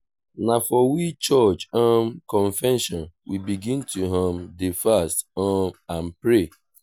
na for we church um convention we begin to um dey fast um and pray.